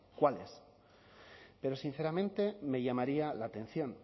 cuáles pero sinceramente me llamaría la atención